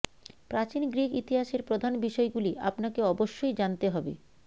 প্রাচীন গ্রিক ইতিহাসের প্রধান বিষয়গুলি আপনাকে অবশ্যই জানতে হবে